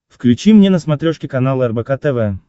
включи мне на смотрешке канал рбк тв